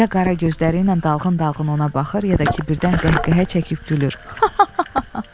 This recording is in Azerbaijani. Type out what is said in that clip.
Ya qara gözləri ilə dalğın-dalğın ona baxır, ya da ki birdən qəhqəhə çəkib gülür.